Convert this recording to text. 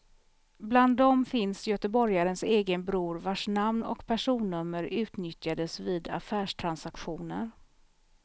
Bland dem finns göteborgarens egen bror vars namn och personnummer utnyttjades vid affärstransaktioner.